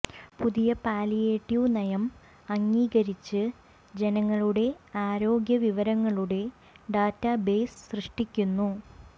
പുതിയ പാലിയേറ്റീവ് നയം അംഗീകരിച്ച് ജനങ്ങളുടെ ആരോഗ്യവിവരങ്ങളുടെ ഡാറ്റാ ബേസ് സൃഷ്ടിക്കുന്നു